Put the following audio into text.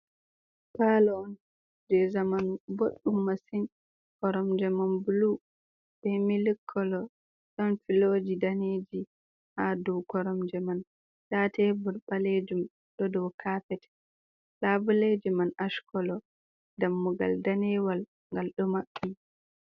Palo on je zamanu boɗɗum masin koromje man blu be milik kolo, ɗon filoji daneji ha do koromje man nda tebul ɓalejum ɗo dow kafet labuleji man ash kolo dammugal danewal ngal ɗo maɓɓi.